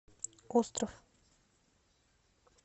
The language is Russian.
остров